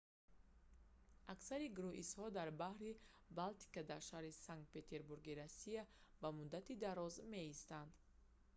аксари круизҳо дар баҳри балтика дар шаҳри санкт петербурги русия ба муддати дароз меистанд